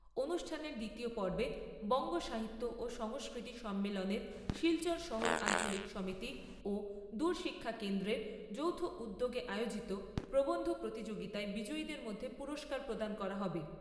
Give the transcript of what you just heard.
অনুষ্ঠানের দ্বিতীয় পর্বে বঙ্গ সাহিত্য ও সংস্কৃতি সম্মেলনের শিলচর শহর আঞ্চলিক সমিতি ও দূর শিক্ষা কেন্দ্রের যৌথ উদ্যোগে আয়োজিত প্রবন্ধ প্রতিযোগিতায় বিজয়ীদের মধ্যে পুরস্কার প্রদান করা হবে।